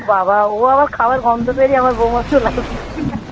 বাবা, ও আবার খাবার গন্ধ পেলেই আমার বৌমা চলে আসবে